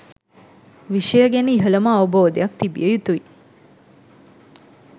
විෂය ගැන ඉහළම අවබෝධයක් තිබිය යුතුයි.